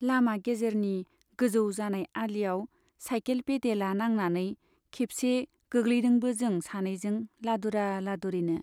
लामा गेजेरनि गोजौ जानाय आलियाव साइकेल पेडेला नांनानै खेबसे गोग्लैदोंबो जों सानैजों लादुरा लादुरिनो।